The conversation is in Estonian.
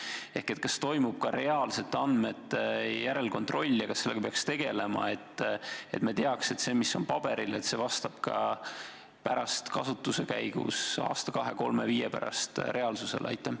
Ehk kas toimub ka reaalselt järelkontrolli ja kas sellega peaks tegelema, et me teaks, et see, mis on paberil, vastab ka kasutuse käigus, aasta, kahe, kolme või viie pärast reaalsusele?